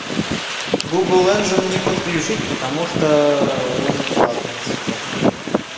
гугл энджин не подключить потому что он платный сука